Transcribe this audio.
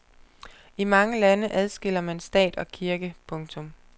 I mange lande adskiller man stat og kirke. punktum